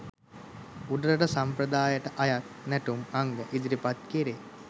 උඩරට සම්ප්‍රදායට අයත් නැටුම් අංග ඉදිරිපත් කෙරේ